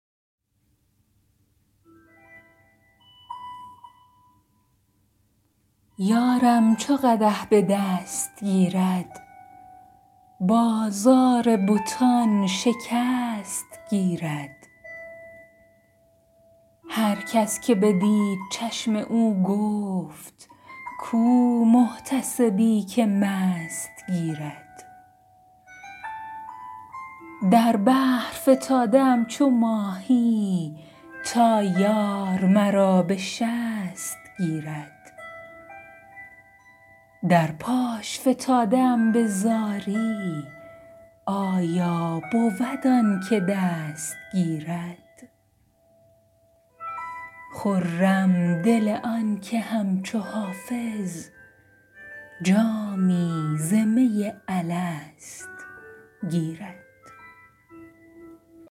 یارم چو قدح به دست گیرد بازار بتان شکست گیرد هر کس که بدید چشم او گفت کو محتسبی که مست گیرد در بحر فتاده ام چو ماهی تا یار مرا به شست گیرد در پاش فتاده ام به زاری آیا بود آن که دست گیرد خرم دل آن که همچو حافظ جامی ز می الست گیرد